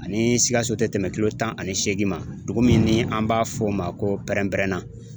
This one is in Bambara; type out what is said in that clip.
Ani sikaso tɛ tɛmɛ kilo tan ani seegin ma , dugu min ni an b'a f'o ma ko pɛrɛn-pɛrɛnna.